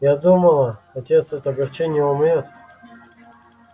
я думала отец от огорчения умрёт